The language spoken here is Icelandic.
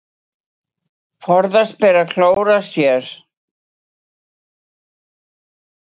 Forðast ber að klóra sér.